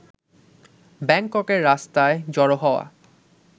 ব্যাংককের রাস্তায় জড়ো হওয়া